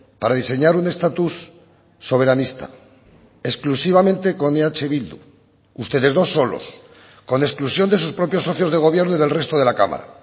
para diseñar un estatus soberanista exclusivamente con eh bildu ustedes dos solos con exclusión de sus propios socios de gobierno y del resto de la cámara